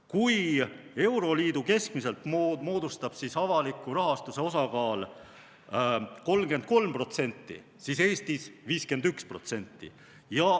Kui euroliidus moodustab avaliku rahastuse osakaal keskmiselt 33%, siis Eestis 51%.